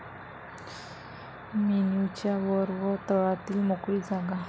मेन्युच्या वर व तळातील मोकळी जागा